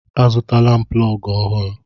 Azụtala m plọgụ ọhụrụ.